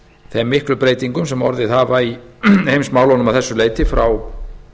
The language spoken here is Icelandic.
þeim miklu breytingum sem orðið hafa í heimsmálunum að þessu leyti frá